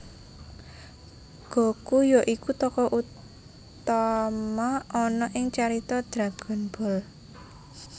Goku ya iku tokoh utama ana ing carita Dragon Ball